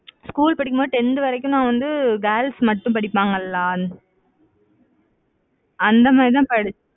school படிக்கும் போது tenth வரைக்கும் நான் வந்து girls மட்டும் படிப்பாங்கல்ல, அந்த மாதிரிதான் படிச்சேன்.